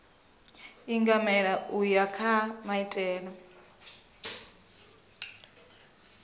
ingamela u ya kha maitele